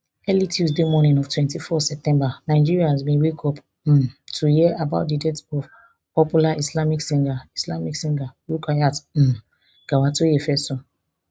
early tuesday morning of twenty-four september nigerians bin wake up um to hear about di death of popular islamic singer islamic singer rukayat um gawatoyefeso